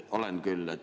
Olen küll.